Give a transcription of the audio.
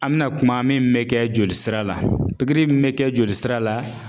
An bɛna kuma min bɛ kɛ jolisira la pikiri min bɛ kɛ jolisira la